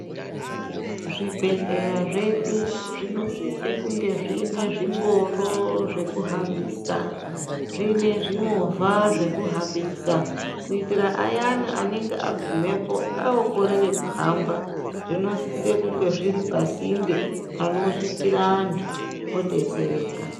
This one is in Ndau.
Zvibhehleya zvedu zvinosise kunge zvine zvingoro zvekuhambisa ,zvinezvimovha zvekuhambisa kuitira aayane anenge agumepo okorera kuhamba zvinosise kunge zviri pasinde panosvikire antu adotsereka.